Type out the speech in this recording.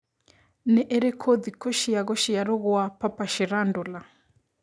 nĩ ĩrikũ thikũ cia gũcĩarwo gwa Papa Shirandula